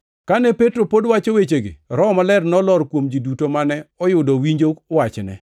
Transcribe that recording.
Kane Petro pod wacho wechegi, Roho Maler nolor kuom ji duto mane oyudo winjo wachne.